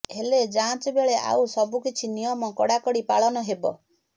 ହେଲେ ଯାଂଚ ବେଳେ ଆଉ ସବୁକିଛି ନିୟମ କଡାକଡି ପାଳନ ହେବ